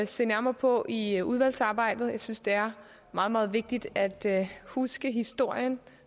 se nærmere på i udvalgsarbejdet jeg synes det er meget meget vigtigt at huske historien